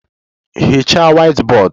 Hichaa whiteboard!